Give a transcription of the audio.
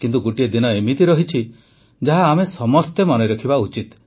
କିନ୍ତୁ ଗୋଟିଏ ଦିନ ଏମିତି ରହିଛି ଯାହା ଆମେ ସମସ୍ତେ ମନେ ରଖିବା ଉଚିତ